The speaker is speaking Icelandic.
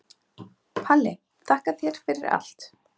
Palli, þakka þér fyrir allt.